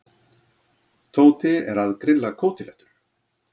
Tóti er að grilla kótilettur.